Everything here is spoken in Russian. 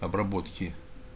обработки